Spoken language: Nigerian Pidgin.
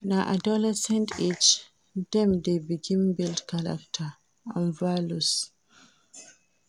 Na adolescent age dem dey begin build character and values.